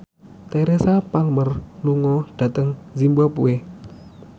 Teresa Palmer lunga dhateng zimbabwe